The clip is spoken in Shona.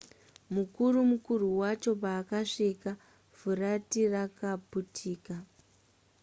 mukuru mukuru wacho paakasvika furati rakaputika